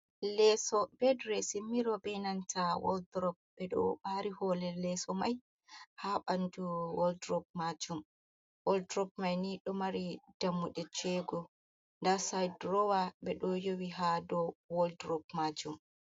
Leeso bedre simiro be nanta wald rop be do bari holel leso mai ha bandu waldrop majum waldrop mai ni do mari dammudecego da cidrowa be do yowi ha do waldrop majum.